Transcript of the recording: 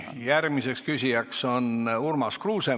Järgmine küsija on Urmas Kruuse.